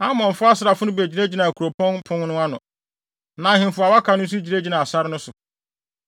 Amonfo asraafo no begyinagyinaa kuropɔn no pon ano, na ahemfo a wɔaka no nso gyinagyinaa sare no so.